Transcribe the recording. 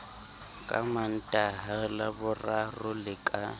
ka mantaha laboraro le ka